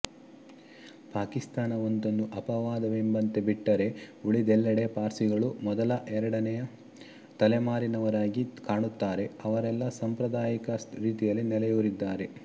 ಪಾಕಿಸ್ತಾನ ಒಂದನ್ನು ಅಪವಾದವೆಂಬಂತೆ ಬಿಟ್ಟರೆ ಉಳಿದೆಲ್ಲಡೆ ಪಾರ್ಸಿಗಳು ಮೊದಲಎರಡನೆಯ ತಲೆಮಾರಿನವರಾಗಿ ಕಾಣುತ್ತಾರೆಅವರೆಲ್ಲ ಸಾಂಪ್ರದಾಯಿಕ ರೀತಿಯಲ್ಲಿ ನೆಲೆಯೂರಿದ್ದಾರೆ